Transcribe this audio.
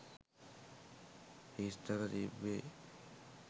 හිස්තැන තිබ්බෙ.